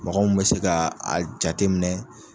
Mɔgɔ mu be se ka a jate minɛ